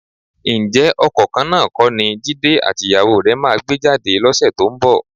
Ǹjẹ́ ọkọ̀ kan náà kọ́ ni Jídé àtìyàwó rẹ máa gbé jáde lọ́sẹ̀ tó ń bọ̀?